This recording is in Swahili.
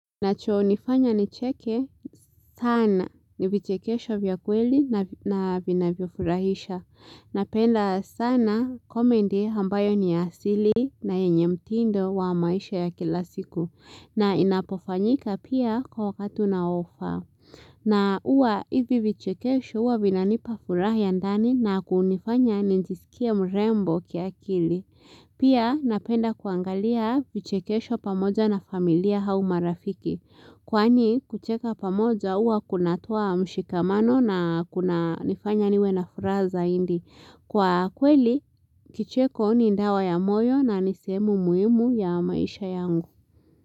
Nacho nifanya nicheke sana ni vichekesho vya kweli na vinavyofurahisha. Napenda sana comedy ambayo ni ya asili na yenye mtindo wa maisha ya kila siku. Na inapofanyika pia kwa wakatu unaofaa. Na huwa hivi vichekesho huwa vinanipa furaha ya ndani na kunifanya nijiskie mrembo kiakili. Pia napenda kuangalia vichekesho pamoja na familia au marafiki. Kwani kucheka pamoja huwa kunatoa mshikamano na kunanifanya niwe na furaha zaidi. Kwa kweli kicheko ni dawa ya moyo na ni sehemu muhimu ya maisha yangu.